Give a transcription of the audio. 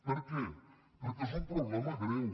per què perquè és un problema greu